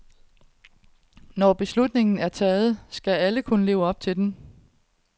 Når beslutningen er taget, skal alle kunne leve op til den.